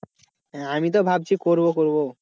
হ্যাঁ আমি তো ভাবছি করবো করবো।